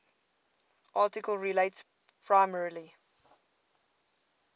article relates primarily